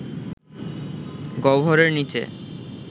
গহ্বরের নীচে